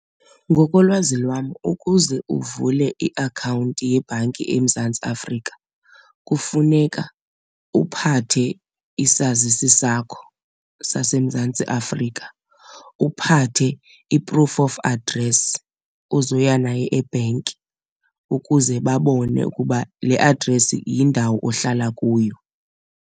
Ngokolwazi lwam ukuze uvule iakhawunti yebhanki eMzantsi Afrika kufuneka uphathe isazisi sakho saseMzantsi Afrika, uphathe i-proof of address ozoya nayo ebhenki ukuze babone ukuba le address yindawo ohlala kuyo.